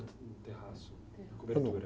No terraço, na cobertura.